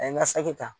A ye n ka saki ta